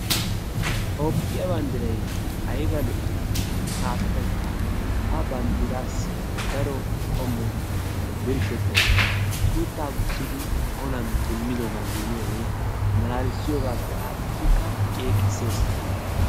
Toophphiyaa banddiray aybaa lo"ii! gaasotaykka ha banddiraasi daro qommo birshshettay de'ees. suuttaa guussidi olaan deemidoogaa gidiyoogee malaalissiyoogappe adhidikka ceeqissees.